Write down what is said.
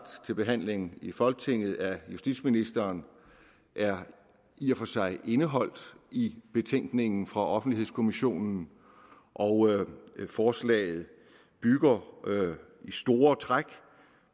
til behandling i folketinget af justitsministeren er i og for sig indeholdt i betænkningen fra offentlighedskommissionen og forslaget bygger i store træk